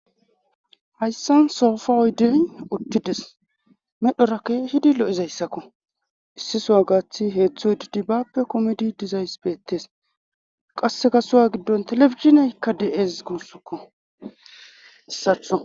hayssan soofa oydey uttides medhorakke kehidi lo'izayssakko issi sowa gaathi heetztho didibappe komidi dizayss beettes qasse sohuwa giddon telebizhinay dee'es guussokko hesatho